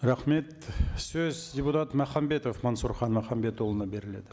рахмет сөз депутат махамбетов мансұрхан махамбетұлына беріледі